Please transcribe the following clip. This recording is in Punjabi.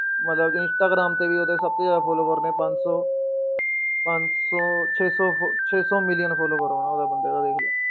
ਮਤਲਬ ਕਿ ਇੰਸਟਾਗ੍ਰਾਮ ਤੇ ਵੀ ਉਹਦੇ ਸਭ ਤੋਂ ਜ਼ਿਆਦਾ follower ਨੇ ਪੰਜ ਸੌ, ਪੰਜ ਸੌ ਛੇ ਸੌ ਫ~ ਛੇ ਸੌ ਮਿਲੀਅਨ follower ਹੋਣਾ ਉਹਦਾ ਬੰਦੇ ਦਾ ਦੇਖ ਲਓ।